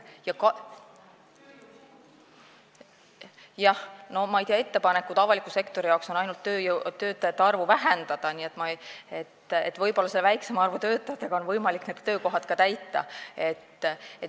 Jah, ma ei tea, ettepanekud on avaliku sektori töötajate arvu ainult vähendada, võib-olla selle väiksema arvu töötajatega on võimalik need töökohad ka ära täita.